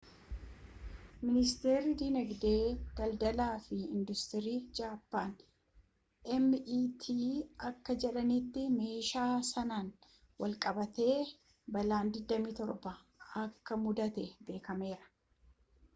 miniistirii diinagdee daldalaa fi induustirii jaappaan meti akka jedhaniitti meeshaa sanaan wal qabatee balaan 27 akka muddate beekameera